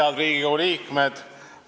Head Riigikogu liikmed!